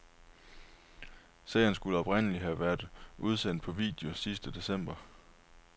Serien skulle oprindeligt have været udsendt på video sidste december.